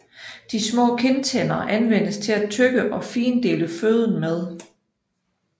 De små kindtænder anvendes til at tygge og findele føden med